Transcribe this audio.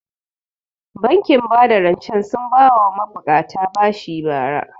Bankin bada rancen sun ba wa ma buƙata bashi bara